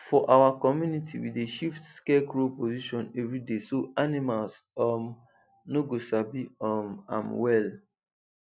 for our community we dey shift scarecrow position every day so animals um no go sabi um am well